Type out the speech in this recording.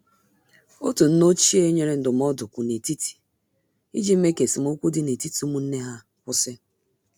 Otu nne ochie nyere ndụmọdụ kwụ n' etiti iji mee ka esemokwi dị n'etiti ụmụnne ha kwụsị.